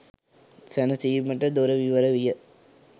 සැනසීමට දොර විවර විය.